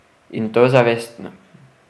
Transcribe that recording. In to zavestno...